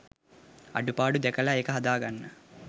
අඩුපාඩුව දැකල ඒක හදාගන්න